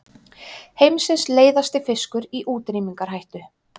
Heimsins leiðasti fiskur í útrýmingarhættu